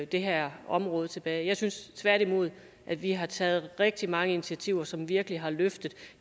det her område tilbage jeg synes tværtimod at vi har taget rigtig mange initiativer som virkelig har løftet